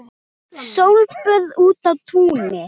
Sólböð úti á túni.